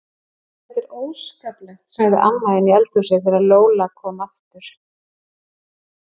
Þetta er óskaplegt, sagði amma inni í eldhúsi þegar Lóa-Lóa kom aftur.